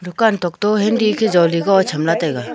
dukan thoto hindi khe jaley go chamla taiga.